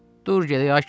Dur gedək, ay kişi.